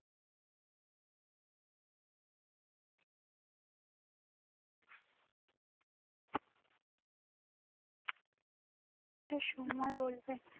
এটা সময় বলবে